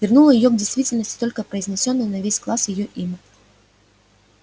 вернуло её к действительности только произнесённое на весь класс её имя